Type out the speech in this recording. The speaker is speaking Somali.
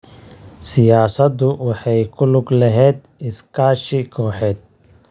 Siyaasaddu waxay ku lug lahayd iskaashi kooxeed.